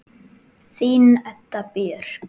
Þín Edda Björk.